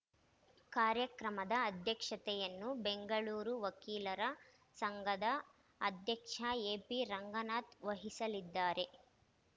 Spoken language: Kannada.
ಕಾರ್ಯಕ್ರಮದ ಅಧ್ಯಕ್ಷತೆಯನ್ನು ಬೆಂಗಳೂರು ವಕೀಲರ ಸಂಘದ ಅಧ್ಯಕ್ಷ ಎಪಿರಂಗನಾಥ್‌ ವಹಿಸಲಿದ್ದಾರೆ